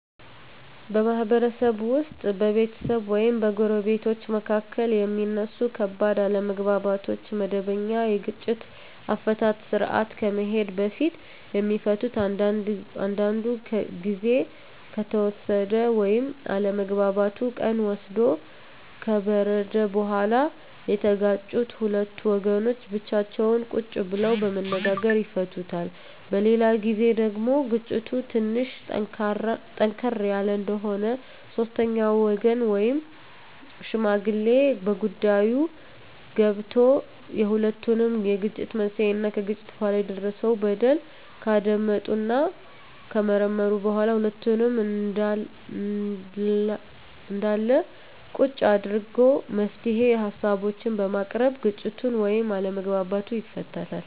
በማህበረሰብ ውስጥ በቤተሰብ ወይም በጎረቤቶች መካከል የሚነሱ ከባድ አለመግባባቶች ወደመበኛ የግጭት አፈታት ስርአት ከመሄዱ በፊት የሚፈቱት አንዳንዱ ግዜ ከተወሰደ ወይም አለመግባባቱ ቀን ወስዶ ከበረደ በኋላ የተጋጩት ሁለት ወገኖች ብቻቸውን ቁጭ ብለው በመነጋገር ይፈቱታል። በሌላ ግዜ ደግሞ ግጭቱ ትንሽ ጠንከር ያለ እንደሆነ ሶስተኛ ወገን ወይም ሽማግሌ በጉዳይዮ ገብቶበት የሁለቱንም የግጭት መንሴና ከግጭቱ በኋላ የደረሰው በደል ካዳመጠና ከመረመረ በኋላ ሁለቱንም አንድላ ቁጭ አድርጎ የመፍትሄ ሀሳቦችን በማቅረብ ግጭቱን ወይም አለመግባባቱን ይፈታል።